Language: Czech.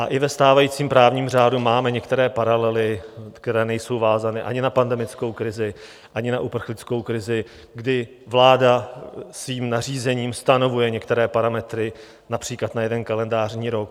A i ve stávajícím právním řádu máme některé paralely, které nejsou vázané ani na pandemickou krizi, ani na uprchlickou krizi, kdy vláda svým nařízením stanovuje některé parametry například na jeden kalendářní rok.